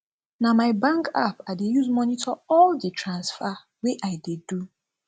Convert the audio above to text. na my bank app i dey use monitor all di transfer wey i dey do